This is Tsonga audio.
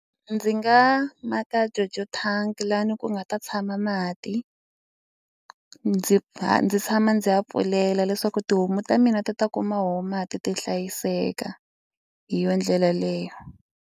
Ndzi nga maka judge tank lani ku nga ta tshama mati ndzi va ndzi tshama ndzi ya pfulela leswaku tihomu ta mina ti ta kuma mati ti hlayiseka hi yona ndlela leyo.